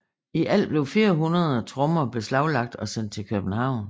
I alt blev flere hundrede trommer beslaglagt og sendt til København